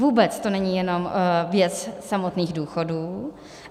Vůbec to není jenom věc samotných důchodů.